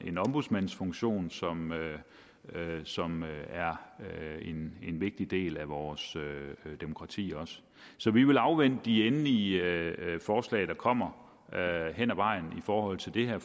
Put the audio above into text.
ombudsmandsfunktion som som er en vigtig del af vores demokrati også så vi vil afvente de endelige forslag der kommer hen ad vejen i forhold til det her